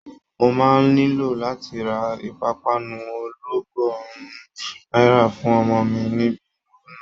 Mo máa nílò láti ra ìpápánu ọlọ́gọ́rùn-ún náírà fún ọmọ mi níbi ìnáwó náà